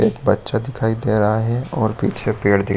एक बच्चा दिखाई दे रहा है और पीछे पेड़ दी--